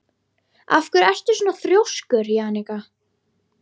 Af hverju ertu svona þrjóskur, Jannika?